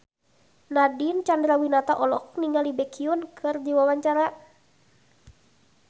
Nadine Chandrawinata olohok ningali Baekhyun keur diwawancara